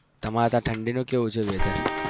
તમારે અત્યારે ઠંડી નું કેવું છે weather